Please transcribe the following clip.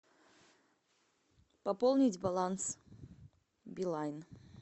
пополнить баланс билайн